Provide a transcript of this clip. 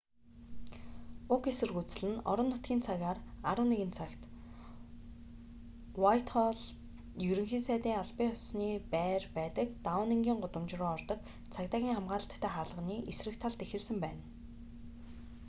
уг эсэргүүцэл нь орон нутгийн цагаар 11:00 цагт utc+1 уайтхоллд ерөнхий сайдын албан ёсны байр байдаг даунингийн гудамж руу ордог цагдаагийн хамгаалалттай хаалганы эсрэг талд эхэлсэн байна